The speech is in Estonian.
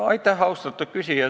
Aitäh, austatud küsija!